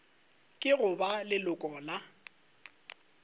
ke go ba leloko la